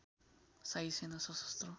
शाही सेना सशस्त्र